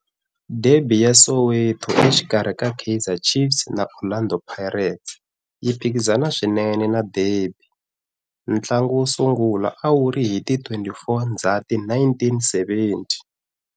Derby ya Soweto exikarhi ka Kaizer Chiefs na Orlando Pirates yi phikizana swinene na derby. Ntlangu wo sungula a wu ri hi ti 24 Ndzhati 1970.